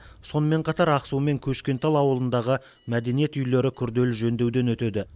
сонымен қатар ақсу мен көшкентал ауылындағы мәдениет үйлері күрделі жөндеуден өтеді